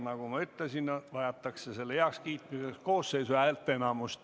Nagu ma ütlesin, on selle heakskiitmiseks vaja Riigikogu koosseisu häälteenamust.